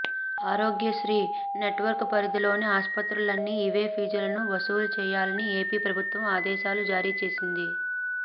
ఆరోగ్య శ్రీ నెట్వర్క్ పరిధిలోని ఆస్పత్రులన్నీ ఇవే ఫీజులను వసూలు చేయాలని ఏపీ ప్రభుత్వం ఆదేశాలు జారీ చేసింది